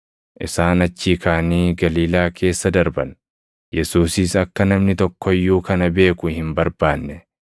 Isaan achii kaʼanii Galiilaa keessa darban. Yesuusis akka namni tokko iyyuu kana beeku hin barbaanne;